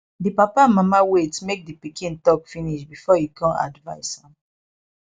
di papa and mama wait make di pikin talk finish before e come advice am